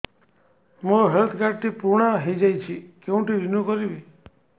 ମୋ health card ଟି ପୁରୁଣା ହେଇଯାଇଛି କେଉଁଠି ରିନିଉ କରିବି